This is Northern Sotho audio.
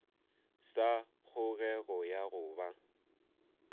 sa kgogego ya go ba